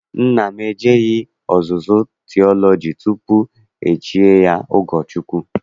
Nna m ejeghị ọzụzụ tiọlọji tutu e chie ya ụkọchukwu.